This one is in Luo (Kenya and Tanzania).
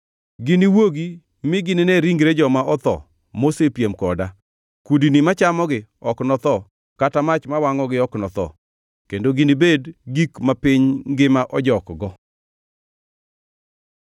“Giniwuogi mi gine ringre joma otho mosepiem koda, kudni machamogi ok notho kata mach mawangʼogi ok notho kendo ginibed gik ma piny ngima ojokgo.”